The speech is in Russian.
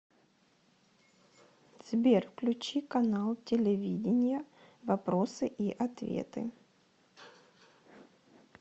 сбер включи канал телевидения вопросы и ответы